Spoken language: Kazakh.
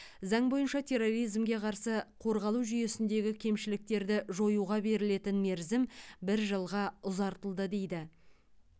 заң бойынша терроризмге қарсы қорғалу жүйесіндегі кемшіліктерді жоюға берілетін мерзім бір жылға ұзартылды дейді